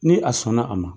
Ni a sɔnna a ma